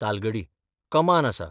तालगडी कमान आसा.